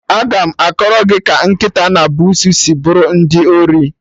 Aga m akọrọ gị ka nkịta na busuu si buru ndị iro